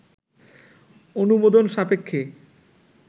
অনুমোদন সাপেক্ষে